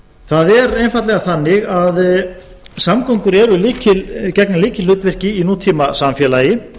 það er einfaldlega þannig að samgöngur gegna lykilhlutverki í nútímasamfélagi